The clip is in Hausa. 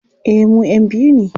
Eh mu'yan biyu ne.